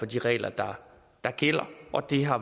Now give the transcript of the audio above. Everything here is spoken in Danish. de regler der gælder og det har